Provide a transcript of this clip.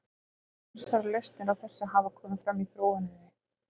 Ýmsar lausnir á þessu hafa komið fram í þróuninni.